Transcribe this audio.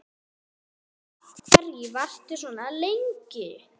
Af hverju varstu svona lengi?